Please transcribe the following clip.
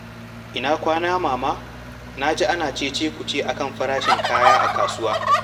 Ina kwana, Mama? Na ji ana ce-ce-ku-ce akan farashin kaya a kasuwa.